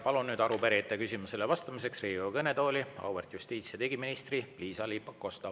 Palun arupärijate küsimustele vastamiseks Riigikogu kõnetooli auväärt justiits- ja digiministri Liisa-Ly Pakosta.